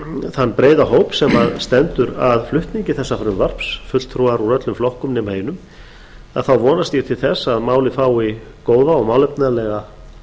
þann breiða hóp sem stendur að flutningi þessa frumvarps fulltrúar úr öllum flokkum nema einum þá vonast ég til að málið fái góða og málefnalega